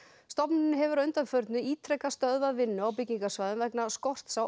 stofnunin hefur að undanförnu ítrekað stöðvað vinnu á byggingarsvæðum vegna skorts á